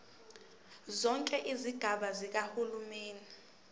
zonke izigaba zikahulumeni